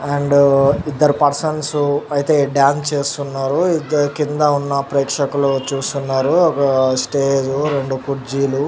and ఇద్దరు persons అయితే dance చేస్తున్నారు ఇద్దరు కింద ఉన్న ప్రేక్షకులు చూస్తున్నారు ఓక స్టేజ్‌ రెండు కుర్జిలు --